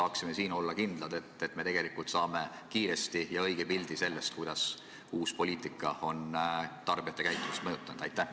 Kas me saame siin olla kindlad, et me saame kiiresti õige pildi sellest, kuidas uus poliitika on tarbijate käitumist mõjutanud?